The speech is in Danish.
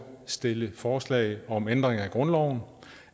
stille forslag om ændring af grundloven